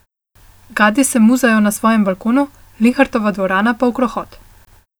Gadi se muzajo na svojem balkonu, Linhartova dvorana pa v krohot.